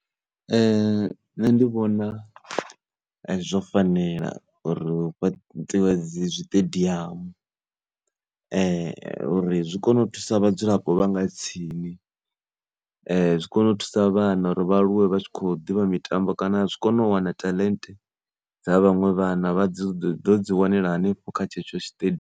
Nṋe ndi vhona zwo fanela uri hu fhaṱiwe zwiṱediamu uri zwi kone u thusa vhadzulapo vha nga tsini zwi kone u thusa vhana uri vha aluwe vha tshi kho ḓivha mitambo kana zwi kone u wana taḽente dza vhaṅwe vhana vha dzi wanela hanefho kha tshetsho .